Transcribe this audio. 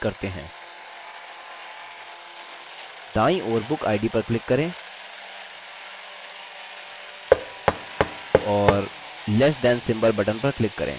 दायीं ओर bookid पर click करें और less than symbol button पर click करें